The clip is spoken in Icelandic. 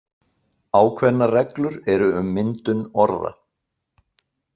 Ákveðnar reglur eru um myndun orða.